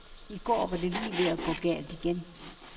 I går var det lige ved at gå galt igen.